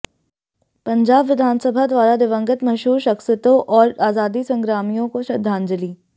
पंजाब विधानसभा द्वारा दिवंगत मशहूर शख्सियतें और आज़ादी संग्रामियों को श्रद्धांजली